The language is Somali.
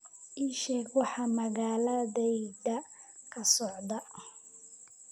ii sheeg waxa magaaladayda ka socda